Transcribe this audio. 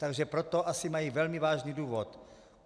Takže pro to asi mají velmi vážný důvod.